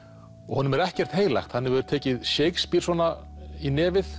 honum er ekkert heilagt hann hefur tekið Shakespeare svona í nefið